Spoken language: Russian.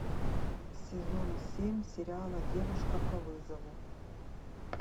сезон семь сериала девушка по вызову